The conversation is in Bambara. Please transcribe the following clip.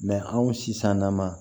anw sisan na ma